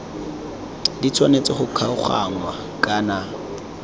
di tshwanetse go kgaoganngwa kana